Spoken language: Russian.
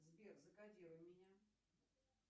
сбер закодируй меня